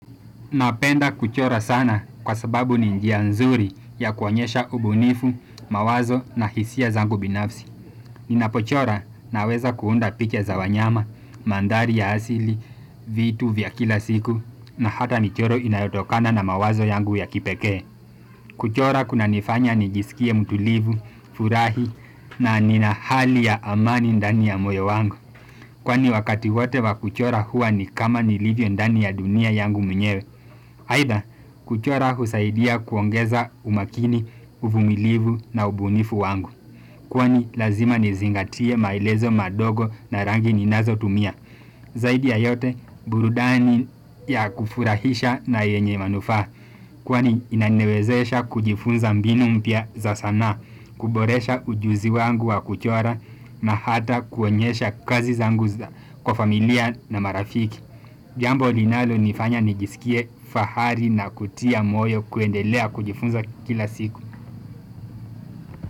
Napenda kuchora sana kwa sababu ni njia nzuri ya kuonyesha ubunifu, mawazo na hisia zangu binafsi. Ninapochora na weza kuunda picha za wanyama, mandhari ya hasili, vitu vya kila siku na hata michoro inayotokana na mawazo yangu ya kipeke. Kuchora kuna nifanya ni jisikie mtulivu, furahi na nina hali ya amani ndani ya moyo wangu. Kwani wakati wote wa kuchora huwa ni kama nilivyo ndani ya dunia yangu mwenyewe Haida kuchora husaidia kuongeza umakini, uvumilivu na ubunifu wangu Kwani lazima nizingatie maelezo madogo na rangi ninazo tumia Zaidi ya yote burudani ya kufurahisha na yenye manufaa Kwani inaniwezesha kujifunza mbinu mpya za sanaa kuboresha ujuzi wangu wa kuchora na hata kuonyesha kazi zangu kwa familia na marafiki. Jambo linalo nifanya nijisikie fahari na kutia moyo kuendelea kujifunza kila siku.